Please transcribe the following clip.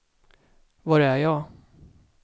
var är jag